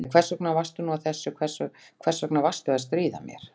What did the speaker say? Æ, hvers vegna varstu nú að þessu, hvers vegna varstu að stríða mér?